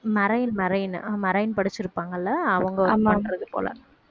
marine marine marine படிச்சிருப்பாங்கல்ல அவங்க work பண்ணறது போல